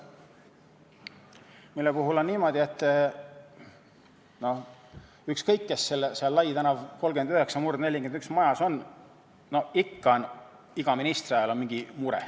Sellega on niimoodi, et ükskõik, kes seal Laial tänaval majas 39/41 on, ikka on iga ministri ajal mingi mure.